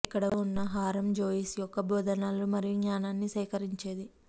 ఇక్కడ ఉన్న హారము జోయిస్ యొక్క బోధనలను మరియు జ్ఞానాన్ని సేకరించేది